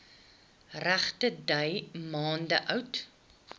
regterdy maande oud